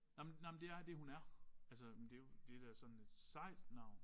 Nej men nej men det er det hun er altså men det jo det da sådan et sejt navn